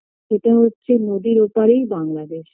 সেটা হচ্ছে নদীর ওপারেই বাংলাদেশ